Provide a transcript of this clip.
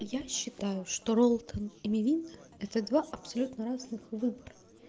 я считаю что роллтон и мивина это два абсолютно разных выбора